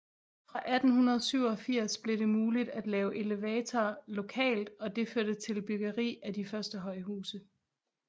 Fra 1887 blev det muligt at lave elevatorer lokalt og det førte til byggeri af de første højhuse